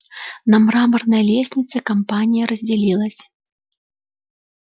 на мраморной лестнице компания разделилась